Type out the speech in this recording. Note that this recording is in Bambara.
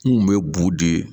N kun be bugu de